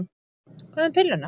Hvað um pilluna?